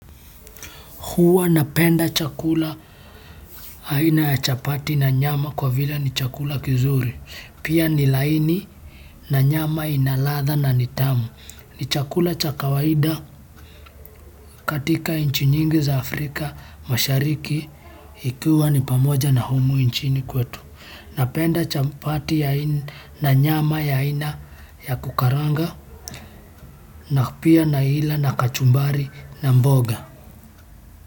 Huwa napenda chakula aina ya chapati na nyama kwa vile ni chakula kizuri. Pia ni laini na nyama ina ladha na ni tamu. Ni chakula cha kawaida katika nchi nyingi za Afrika mashariki ikuwa ni pamoja na humu nchini kwetu. Napenda chapati na nyama ya aina ya kukaranga na pia naila na kachumbari na mboga.